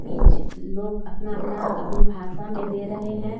Peach लोग अपना-अपना अपने भाषा में दे रहे हैं।